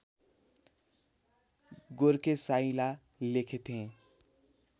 गोर्खे साइँला लेखेथेँ